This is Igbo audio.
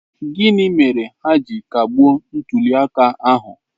Gịnị mere ha ji kagbuo ntuli aka ahụ?